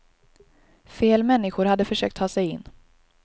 Fel människor hade försökt ta sig in.